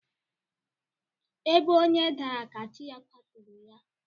Ebe onye dara ka chi ya kwaturu ya.